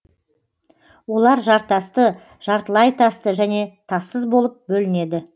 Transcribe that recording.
олар жартасты жартылай тасты және тассыз болып бөлінеді